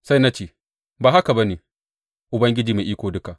Sai na ce, Ba haka ba ne, Ubangiji Mai Iko Duka!